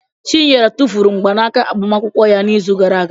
Chinyere tụfuru mgbanaka agbamakwụkwọ ya n'izu gara aga.